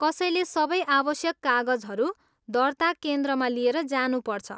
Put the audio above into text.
कसैले सबै आवश्यक कागजहरू दर्ता केन्द्रमा लिएर जानुपर्छ।